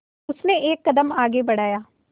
उसने एक कदम आगे बढ़ाया